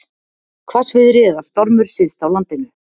Hvassviðri eða stormur syðst á landinu